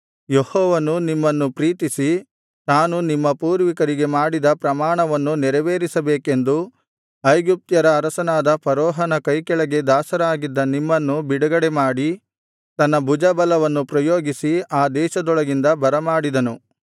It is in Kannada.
ಯೆಹೋವನು ನಿಮ್ಮನ್ನು ಪ್ರೀತಿಸಿ ತಾನು ನಿಮ್ಮ ಪೂರ್ವಿಕರಿಗೆ ಮಾಡಿದ ಪ್ರಮಾಣವನ್ನು ನೆರವೇರಿಸಬೇಕೆಂದು ಐಗುಪ್ತ್ಯರ ಅರಸನಾದ ಫರೋಹನ ಕೈಕೆಳಗೆ ದಾಸರಾಗಿದ್ದ ನಿಮ್ಮನ್ನು ಬಿಡುಗಡೆಮಾಡಿ ತನ್ನ ಭುಜಬಲವನ್ನು ಪ್ರಯೋಗಿಸಿ ಆ ದೇಶದೊಳಗಿಂದ ಬರಮಾಡಿದನು